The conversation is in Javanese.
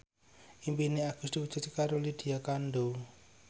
impine Agus diwujudke karo Lydia Kandou